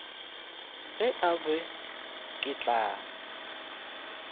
ge e ba ke la